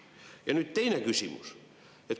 Ja teine küsimus.